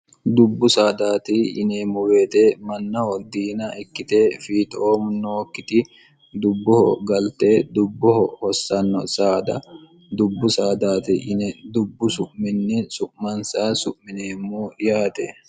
dubbu saadaati yineemmu beete mannaho diina ikkite fiixoom nookkiti dubboho galte dubboho hossanno saada dubbu saadaati yine dubbu su'minni su'mansa su'mineemmu yaate